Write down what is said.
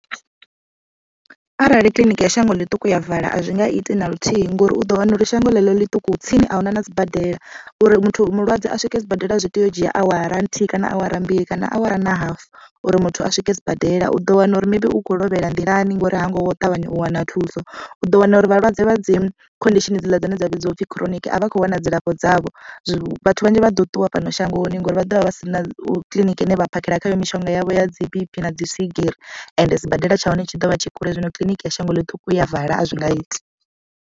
Arali kiḽiniki ya shango ḽiṱuku ya vala a zwinga iti naluthihi ngori u ḓo wana uri shango ḽeḽo ḽiṱuku tsini ahuna na sibadela uri muthu mulwadze a swike sibadela zwi tea u dzhia awara nthihi kana awara mbili kana awara na hafu uri muthu a swike sibadela. U ḓo wana uri maybe ukho lovhela nḓilani ngori ha ngo ṱavhanya u wana thuso u ḓo wana uri vhalwadze vha dzi condition hedzila dzine dza vhidziwa upfi chronic avha a kho wana dzilafho dzavho vhanzhi vha ḓo ṱuwa fhano shangoni ngori vha ḓovha vha si na kiḽiniki ine vha phakhela khayo mishonga yavho ya dzi B_P na dzi swigiri ende sibadela tsha hone tshi dovha tshi kule zwino kiḽiniki ya shango ḽi ṱuku ya vala a zwi nga iti.